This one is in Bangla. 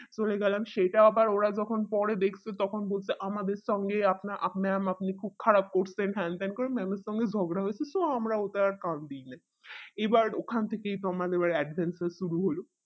হয়ে গেলাম সেটা আবার ওরা যখন পরে দেখতো তখন দেখতে আমাদের সঙ্গে আপনা mam আপনি খুব খারাপ করছেন হ্যান ত্যান করে mam এর সাথে ঝগড়া হইতেছে আমরা ওটা কান দেয় নাই এবার ওখান থেকে আমাদের adventure শুরু হলো